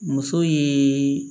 Muso ye